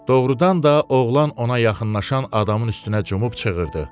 Doğrudan da oğlan ona yaxınlaşan adamın üstünə cumub çığırdı.